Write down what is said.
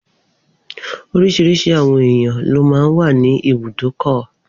Oríṣiríṣi àwọn èèyàn ló máa n wà ní ibùdókọ̀